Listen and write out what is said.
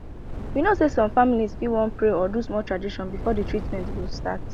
you know say some families fit wan pray or do small tradition before the treatment go start